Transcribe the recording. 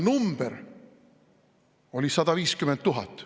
Number oli 150 000.